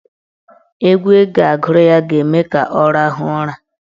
Egwu ị ga-agụrụ ya ga-eme ka ọ rahụọ ụra.